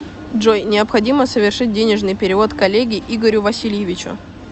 джой необходимо совершить денежный перевод коллеге игорю васильевичу